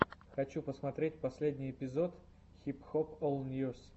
хочу посмотреть последний эпизод хип хоп ол ньюс